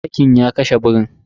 Zakin ya kashe birin.